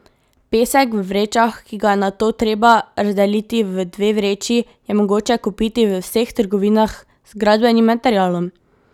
Pesek v vrečah, ki ga je nato treba razdeliti v dve vreči, je mogoče kupiti v vseh trgovinah z gradbenim materialom.